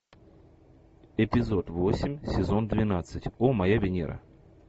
эпизод восемь сезон двенадцать о моя венера